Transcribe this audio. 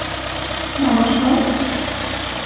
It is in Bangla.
নমস্কার